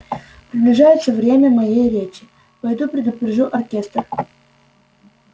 приближается время моей речи пойду предупрежу оркестр